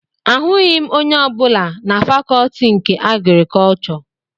Ahụghị m onye ọbụla na fakọtị nke agrikọchọ